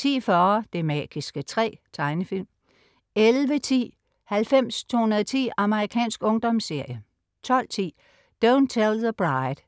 10.40 Det magiske træ. Tegnefilm 11.10 90210. Amerikansk ungdomsserie 12.10 Don't Tell the Bride*